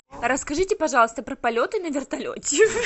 расскажите пожалуйста про полеты на вертолете